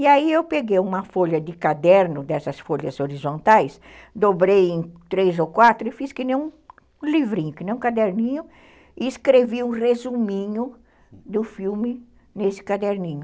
E aí eu peguei uma folha de caderno, dessas folhas horizontais, dobrei em três ou quatro e fiz que nem um livrinho, que nem um caderninho, e escrevi um resuminho do filme nesse caderninho.